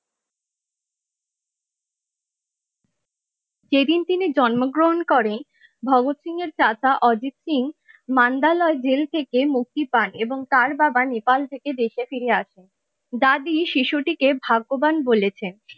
যেদিন তিনি জন্মগ্রহণ করেন ভগৎ সিং এর কাকা অজিত সিং মান্দালয়ের জেল থেকে মুক্তি পান এবং তার বাবা নেপাল থেকে দেশে ফিরে আসেন দাদি শিশুটিকে ভাগ্যবান বলেছেন।